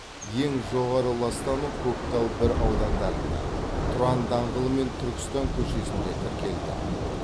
ең жоғары ластану көктал бір аудандарында тұран даңғылы мен түркістан көшесінде тіркелді